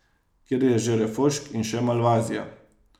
Kjer je že refošk in še malvazija.